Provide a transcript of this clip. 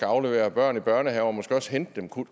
aflevere børn i børnehave og måske også hente dem kunne